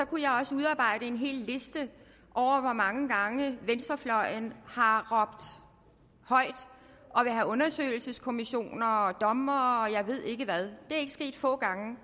kunne jeg også udarbejde en hel liste over hvor mange gange venstrefløjen har råbt højt og undersøgelseskommissioner og dommere og jeg ved ikke hvad det er ikke sket få gange